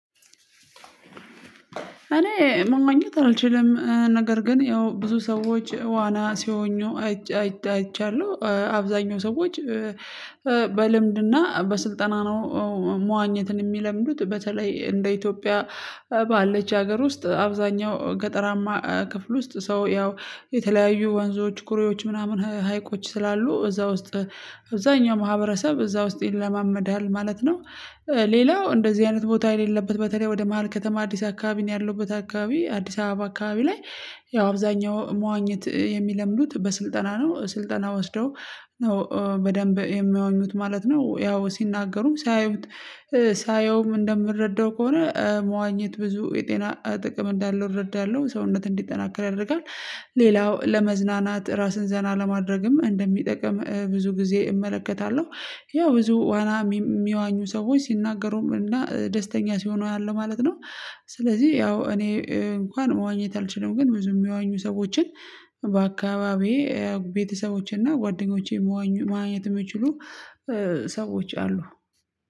እኔ መዋኘት አልችልም። ነገር ግን ያው ብዙ ሰዎች ዋና ሲዋኙ አይቻለሁ። አብዛኛው ሰዎች በልምድና በስልጠና ነው መዋኘትን የሚለምዱት። በተለይ እንደ ኢትዮጵያ ባለች ሀገር ውስጥ አብዛኛው ገጠራማ ክፍል ውስጥ ሰው ያው የተለያዩ ወንዞች ኩሬዎች ምናምን ሀይቆች ስላሉ እዛ ውስጥ አብዛኛው ማህበረሰብ እዛ ውስጥ ይለማመዳል ማለት ነው። ሌላው እንደዚህ አይነት ቦታ የሌለበት በተለይ ወደ መሃል ከተማ እኔ ያለሁበት አካባቢ አዲስ አበባ አካባቢ ላይ ያው አብዛኛው መዋኘት የሚለምዱት በስልጠና ነው። ስልጠና ወስደው ነው በደንብ የሚያወኙት ማለት ነው ያው ሲናገሩም ሳያዩት ሳየውም እንደምረዳው ከሆነ መዋኘት ብዙ የጤና ጥቅም እንዳለው እረዳለሁ። ሰውነት እንዲጠናክር ያደርጋል። ሌላው ለመዝናናት ራስን ዘና ለማድረግም እንደሚጠቅም ብዙ ጊዜ እመለከታለሁ። ያው ብዙ ዋና የሚዋኙ ሰዎች ሲናገሩም እና ደስተኛ ሲሆኑ አያለሁ ማለት ነው። ስለዚህ ያው እኔ እንኳን መዋኘት አልችልም። ግን ብዙ የሚያወኙ ሰዎችን በአካባቢዬ ቤተሰቦቼና ጓደኞቼ መዋኘት የሚችሉ ሰዎች አሉ